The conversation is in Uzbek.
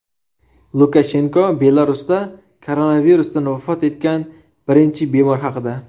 Lukashenko Belarusda koronavirusdan vafot etgan birinchi bemor haqida.